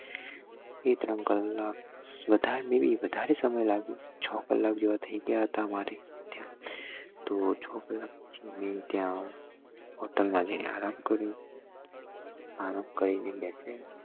એક વધારે સમય લાગ્યો છ કલાક જેવા થઇ ગયા હતા મારે ત્યાં તો છ કલાક પછી મેં hotel માં જી ને આરામ કર્યો આરામ કરી ને